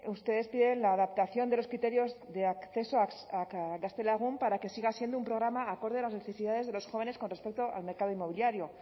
ustedes piden la adaptación de los criterios de acceso a gaztelagun para que siga siendo un programa acorde a las necesidades de las jóvenes con respecto al mercado inmobiliario